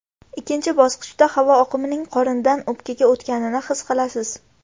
Ikkinchi bosqichda havo oqimining qorindan o‘pkaga o‘tganini his qilasiz.